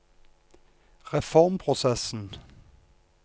reformprosessen